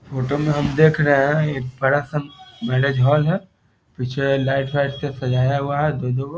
Photo में हम देख रहें है एक बड़ा सा मैरिज हॉल है। पीछे लाइट वाइट से सजाया हुआ है दू दू गो।